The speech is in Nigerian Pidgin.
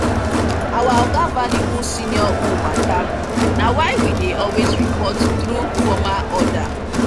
our oga value who senior who matter na why we dey always report through formal order